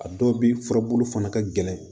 A dɔw bɛ furabulu fana ka gɛlɛn